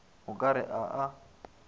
o ka re a a